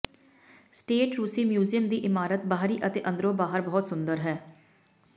state ਰੂਸੀ museum ਦੀ ਇਮਾਰਤ ਬਾਹਰੀ ਅਤੇ ਅੰਦਰੋਂ ਬਾਹਰ ਬਹੁਤ ਸੁੰਦਰ ਹੈ